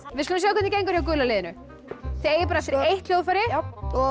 við skulum sjá hvernig gengur hjá gula liðinu þið eigið bara eftir eitt hljóðfæri